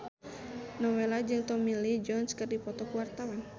Nowela jeung Tommy Lee Jones keur dipoto ku wartawan